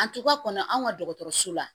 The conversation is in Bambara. An tora kɔnɔ anw ka dɔgɔtɔrɔso la